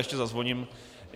Ještě zazvoním.